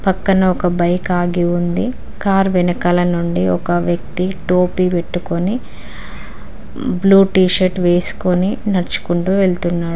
పక్కన ఒక బైక్ ఆగి ఉంది కార్ వెనకాల నుండి ఒక వ్యక్తి టోపీ పెట్టుకొని బ్లూ టీ షర్ట్ వేసుకొని నడుచుకుంటూ వెళుతున్నాడు